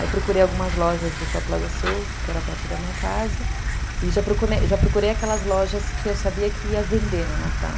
Aí eu procurei algumas lojas do shopping da Sul, que era perto da minha casa, e já procurei já procurei aquelas lojas que eu sabia que iam vender no Natal.